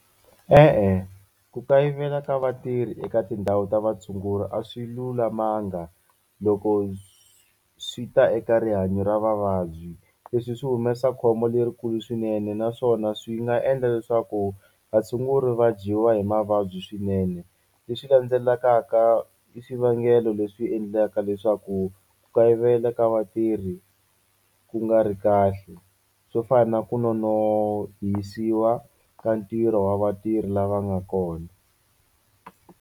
E-e ku kayivela ka vatirhi eka tindhawu ta vatshunguri a swi lulamanga loko swi ta eka rihanyo ra vavabyi leswi swi humesa khombo lerikulu swinene naswona swi nga endla leswaku vatshunguri va dyiwa hi mavabyi swinene leswi landzelakaka i swivangelo leswi endlaka leswaku ku kayivela ka vatirhi ku nga ri kahle swo fana na ku nonohisiwa ka ntirho wa vatirhi lava nga kona.